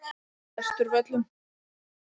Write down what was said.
Vesturvöllum